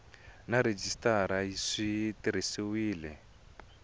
na rhejisitara swi tirhisiwile hi